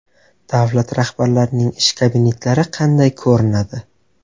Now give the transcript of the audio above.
Davlat rahbarlarining ish kabinetlari qanday ko‘rinadi?